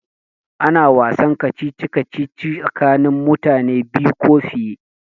Ana wasan kacici kacici tsakanin mutane biyu ko fiye